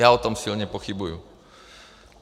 Já o tom silně pochybuju.